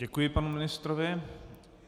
Děkuji panu ministrovi.